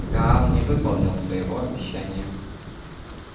гаал не выполнил своего обещания